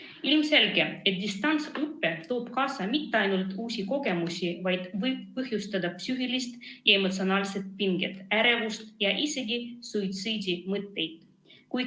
On ilmselge, et distantsõpe ei too kaasa mitte ainult uusi kogemusi, vaid võib põhjustada ka psüühilist ja emotsionaalset pinget, ärevust ja isegi suitsiidimõtteid.